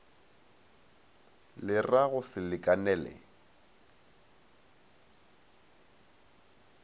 le ra go se lekanele